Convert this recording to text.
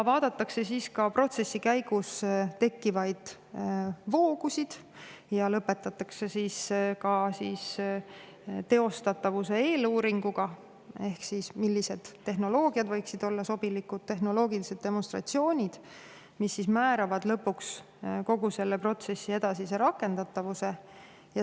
Vaadatakse protsessi käigus tekkivaid voogusid ja lõpetatakse teostatavuse eeluuring ehk siis millised tehnoloogiad, tehnoloogilised demonstratsioonid võiksid olla sobilikud ja mis määravad lõpuks kogu protsessi edasise rakendatavuse.